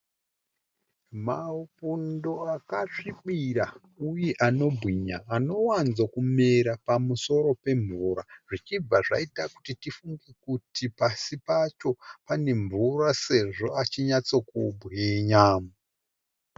Mabudo akasvibira uye anobwinya anowanzo kumera pamusoro pemvura, zvichibva zvaita kuti tifunge kuti pasi pacho pane mvura, sezvo achinyatso kubwinya.